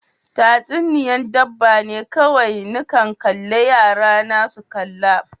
Tatsuniya'n dabba ne kowai ni kan kalle Yara na su kalla.